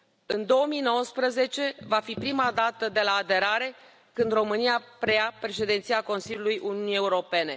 În 2019 va fi prima dată de la aderare când România preia Președinția Consiliului Uniunii Europene.